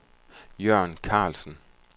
Jørn Karlsen